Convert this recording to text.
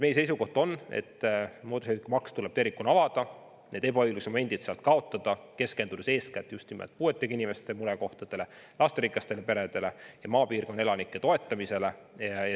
Meie seisukoht on, et mootorsõidukimaksu seadus tuleb tervikuna avada, ebaõigluse momendid sealt kaotada, keskendudes eeskätt just nimelt puuetega inimeste murekohtadele, lasterikastele peredele ja maapiirkondade elanike toetamisele.